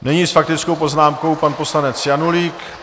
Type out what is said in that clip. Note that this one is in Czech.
Nyní s faktickou poznámkou pan poslanec Janulík.